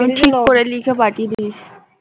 আমি ঠিক করে লিখে পাঠিয়ে দিয়েছি